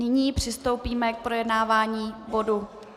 Nyní přistoupíme k projednávání bodu